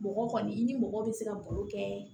Mɔgɔ kɔni i ni mɔgɔ bɛ se ka balo kɛ